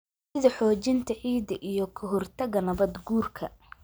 sida xoojinta ciidda iyo ka hortagga nabaad-guurka.